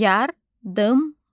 Yardımlı.